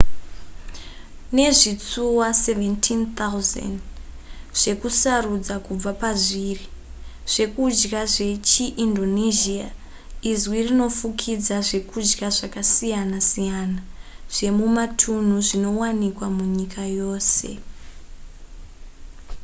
nezvitsuwa 17,000 zvekusarudza kubva pazviri zvekudya zvechiindonesia izwi rinofukidza zvekudya zvakasiyana siyana zvemumatunhu zvinowanikwa munyika yose